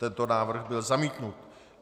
Tento návrh byl zamítnut.